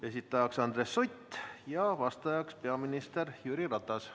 Esitaja on Andres Sutt ja vastaja peaminister Jüri Ratas.